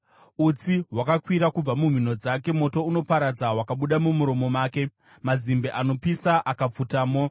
Utsi hwakakwira kubva mumhino dzake; moto unoparadza wakabuda mumuromo make, mazimbe anopisa akapfutamo.